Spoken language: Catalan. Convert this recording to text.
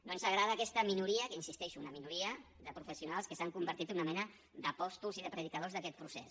no ens agrada aquesta minoria hi insisteixo una minoria de professionals que s’han convertit en una mena d’apòstols i de predicadors d’aquest procés